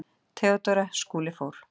THEODÓRA: Skúli fór.